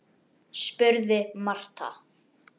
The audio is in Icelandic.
spurði Marta.